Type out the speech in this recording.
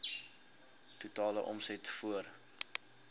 totale omset voor